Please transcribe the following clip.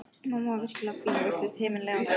Mamma var virkilega fín og virtist himinlifandi.